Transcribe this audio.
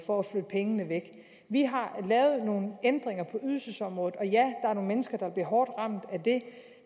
for at flytte pengene væk vi har lavet nogle ændringer på ydelsesområdet og ja er nogle mennesker der bliver hårdt ramt af det